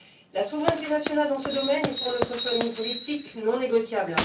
La souveraineté nationale dans ce domaine est, pour notre famille politique, non négociable.